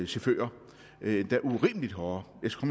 chauffører endda urimelig hårde jeg skal